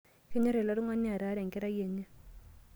Kenyorr ele tungani ataara enkerai enye.